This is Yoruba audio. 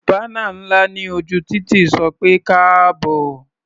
Bánà ńlá ní ojú títì sọ pé "káàbọ̀".